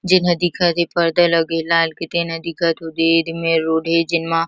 जेहा दिखत हे पर्दा लगे ला तेन ह दिखत दे ही मेर रोड हे जेन म--